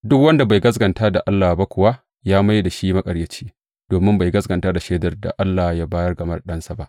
Duk wanda bai gaskata da Allah ba kuwa ya mai da shi maƙaryaci, domin bai gaskata shaidar da Allah ya bayar game da Ɗansa ba.